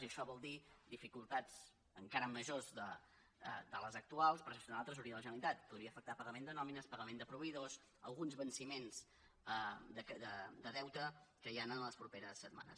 i això vol dir dificultats encara majors que les actuals per gestionar la tresoreria de la generalitat podria afectar el pagament de nòmines pagament de proveïdors alguns venciments de deute que hi ha en les properes setmanes